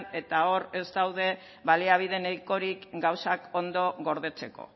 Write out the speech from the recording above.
eta hor ez daude baliabide nahikorik gauzak ondo gordetzeko